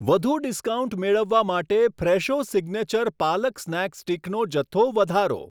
વધુ ડિસ્કાઉન્ટ મેળવવા માટે ફ્રેશો સિગ્નેચર પાલક સ્નેક સ્ટિકનો જથ્થો વધારો.